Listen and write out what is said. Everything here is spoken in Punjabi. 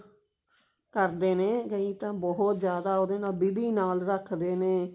ਕਰਦੀ ਨੇ ਕਈ ਤਾਂ ਬਹੁਤ ਜਿਆਦਾ ਉਹਦੇ ਨਲ ਵਿਧੀ ਨਾਲ ਰੱਖਦੇ ਨੇ